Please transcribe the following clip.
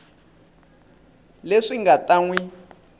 leswi nga ta n wi